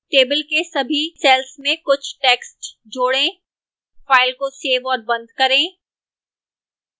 table के सभी cells में कुछ text जोड़ें फाइल को cells और बंद करें